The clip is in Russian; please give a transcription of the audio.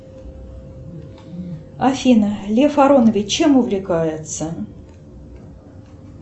афина лев аронович чем увлекается